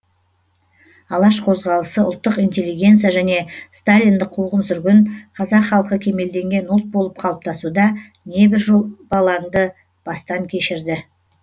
алаш қозғалысы ұлттық интеллигенция және сталиндік қуғын сүргін қазақ халқы кемелденген ұлт болып қалыптасуда небір жобалаңды бастан кешірді